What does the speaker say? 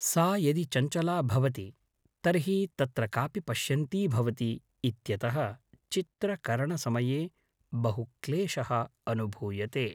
सा यदि चञ्चला भवति तर्हि तत्र कापि पश्यन्ती भवति इत्यतः चित्रकरणसमये बहुक्लेशः अनुभूयते